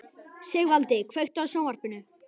Sigvaldi, kveiktu á sjónvarpinu.